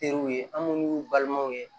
Teriw ye an m'olu y'u balimaw ye